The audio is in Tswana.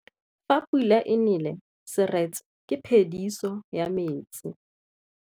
Fa pula e nelê serêtsê ke phêdisô ya metsi.